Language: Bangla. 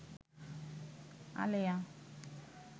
আলেয়া